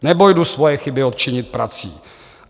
Nebo jdu svoje chyby odčinit prací.